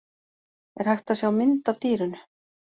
Er hægt að sjá mynd af dýrinu?